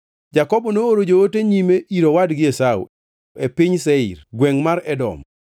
Jakobo nooro joote nyime ir owadgi Esau e piny Seir, gwengʼ mar Edom.